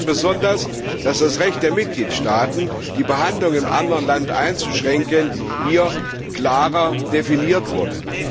Ich begrüße besonders, dass das Recht der Mitgliedstaaten, die Behandlung in einem anderen Land einzuschränken, hier klarer definiert wurde.